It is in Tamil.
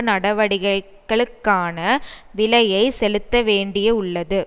நடவடிக்கைகளுக்கான விலையை செலுத்தவேண்டியயுள்ளது